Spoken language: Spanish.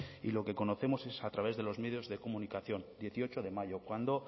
y lo que conocemos a través de los medios de comunicación dieciocho de mayo cuando